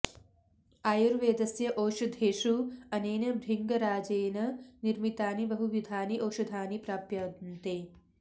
आयुर्वेदस्य औषधेषु अनेन भृङ्गराजेन निर्मितानि बहुविधानि औषधानि प्राप्यन्ते